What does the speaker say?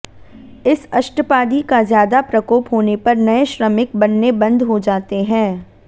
इस अष्टपादी का ज्यादा प्रकोप होने पर नए श्रमिक बनने बंद हो जाते है